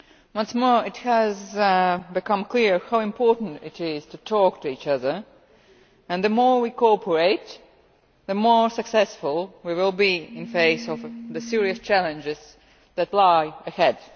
Once more it has become clear how important it is to talk to each other, and the more we cooperate the more successful we will be in face of the serious challenges that lie ahead.